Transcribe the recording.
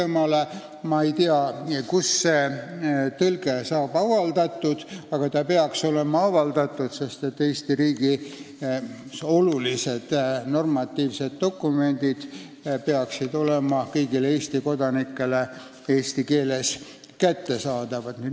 Ma ei tea, kus see tõlge avaldatakse, aga see peaks olema avaldatud, sest Eesti riigis olulised normatiivsed dokumendid peaksid olema kõigile Eesti kodanikele eesti keeles kättesaadavad.